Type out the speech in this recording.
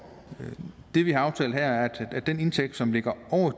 det vi har aftalt her er at den indtægt som ligger over